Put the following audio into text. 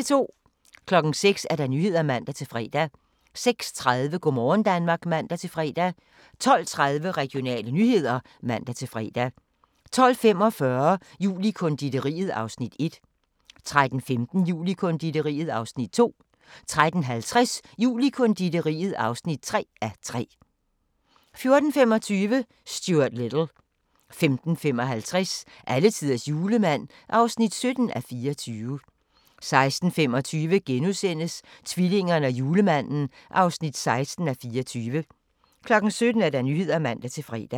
06:00: Nyhederne (man-fre) 06:30: Go' morgen Danmark (man-fre) 12:30: Regionale nyheder (man-fre) 12:45: Jul i konditoriet (1:3) 13:15: Jul i konditoriet (2:3) 13:50: Jul i konditoriet (3:3) 14:25: Stuart Little 15:55: Alletiders julemand (17:24) 16:25: Tvillingerne og julemanden (16:24)* 17:00: Nyhederne (man-fre)